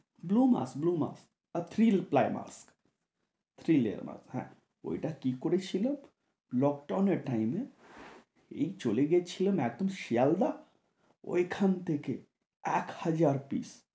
Blue mask blue mask আর three ply mask, three layer mask হ্যাঁ, ঐটা কী করেছিল lockdown এর time এ এই চলে গেছিলাম একদম শিয়ালদা, ঐখান থেকে এক হাজার । piece ।